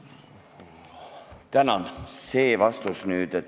Tänan!